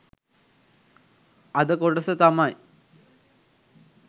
අද කොටස තමයි